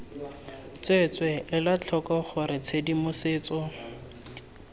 tsweetswee ela tlhoko gore tshedimosetso